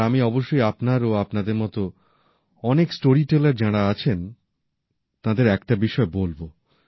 আর আমি অবশ্যই আপনার ও আপনাদের মত অনেক স্টোরিটেলার যাঁরা আছেন তাঁদের একটা বিষয় বলব